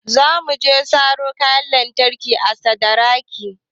Za mu je mu saro kayan lantarki a sadaraki